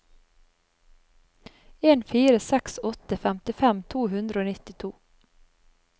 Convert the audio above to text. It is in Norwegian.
en fire seks åtte femtifem to hundre og nittito